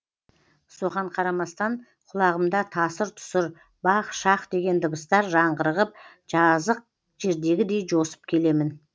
соған қарамастан құлағымда тасыр тұсыр бах шах деген дыбыстар жаңғырығып жазық жердегідей жосып келемін